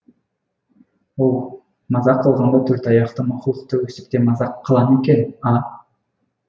оу мазақ қылғанда төрт аяқты мақұлықты өстіп те мазақ қыла ма екен а